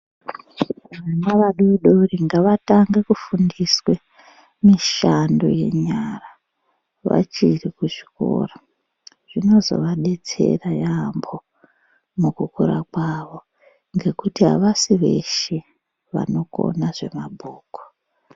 Vana vadoodori ngavatange kufundiswe mishando yenyara vachiri kuchikoro zvinozovadetsera yaamho mukukura kwavo, ngekuti havasi veshe vanokona zvemabhuku.